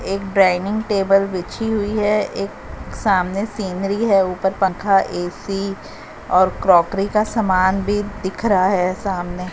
एक dining table बिछी हुई है एक सामने सीनरी है ऊपर पंखा ए_सी और क्रोकरी का सामान भी दिख रहा है सामने--